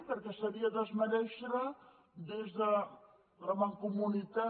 perquè seria desmerèixer des de la mancomunitat